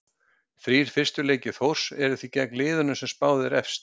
Þrír fyrstu leikir Þórs eru því gegn liðunum sem er spáð efst.